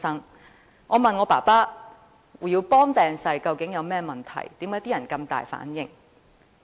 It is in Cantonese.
於是，我問父親胡耀邦病逝有何問題，為何大家會如此大反應的呢？